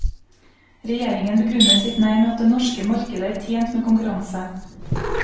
Regjeringen begrunner sitt nei med at det norske markedet er tjent med konkurranse.